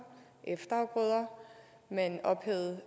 og efterafgrøder man ophævede